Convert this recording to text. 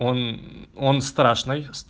он он страшно